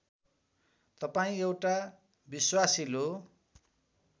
तपाईँ एउटा विश्वासिलो